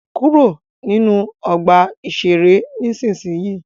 Kúrò ní ọgbà-ìṣeré nísinsìnyí!